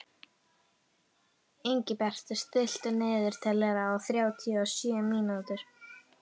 Ingibjartur, stilltu niðurteljara á þrjátíu og sjö mínútur.